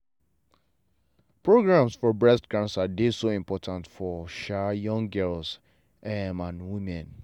programs for breast cancer dey so important for um young girls um and women.